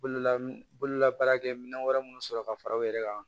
Bololambola baarakɛ minɛn wɛrɛ minnu sɔrɔ ka fara u yɛrɛ kan